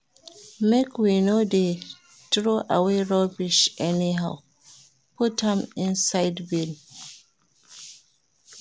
Make we no dey troway rubbish anyhow, put am inside bin.